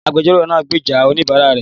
Agbẹjọ́rò náà gbèjà oníbàárà rẹ̀